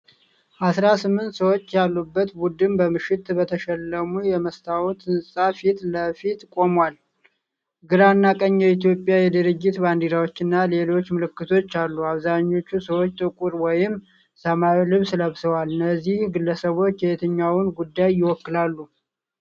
አሥራ ስምንት ሰዎች ያሉት ቡድን በምሽት በተሸለሙ የመስታወት ሕንፃ ፊት ለፊት ቆሟል። ግራና ቀኝ የኢትዮጵያና የድርጅት ባንዲራዎችና ሌሎች ምልክቶች አሉ። አብዛኞቹ ሰዎች ጥቁር ወይም ሰማያዊ ልብስ ለብሰዋል። እነዚህ ግለሰቦች የትኛውን ጉዳይ ይወክላሉ?